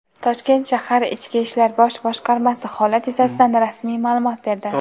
Toshkent shahar Ichki ishlar bosh boshqarmasi holat yuzasidan rasmiy ma’lumot berdi.